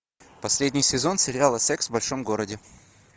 последний сезон сериала секс в большом городе